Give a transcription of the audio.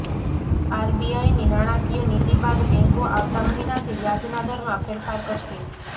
આરબીઆઈની નાણાંકીય નીતિ બાદ બેંકો આવતા મહિનાથી વ્યાજના દરમાં ફેરફાર કરશે